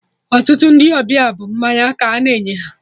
Ọtụtụ Ndị ọbịa bụ mmanya ka a na-enye ha